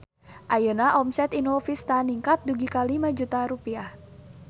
Ayeuna omset Inul Vista ningkat dugi ka 5 juta rupiah